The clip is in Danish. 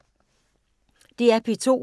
DR P2